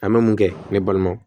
An bɛ mun kɛ ne balima